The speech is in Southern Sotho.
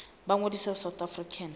ba ngodise ho south african